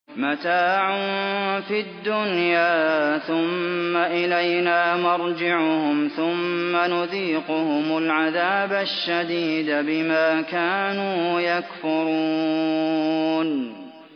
مَتَاعٌ فِي الدُّنْيَا ثُمَّ إِلَيْنَا مَرْجِعُهُمْ ثُمَّ نُذِيقُهُمُ الْعَذَابَ الشَّدِيدَ بِمَا كَانُوا يَكْفُرُونَ